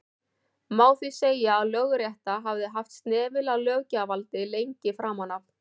má því segja að lögrétta hafi haft snefil af löggjafarvaldi lengi framan af